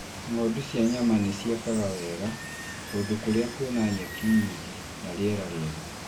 Ng'ondu cia nyama nĩ ciekaga wega kũndũ kũrĩa kũrĩ nyeki nyingĩ na rĩera rĩega.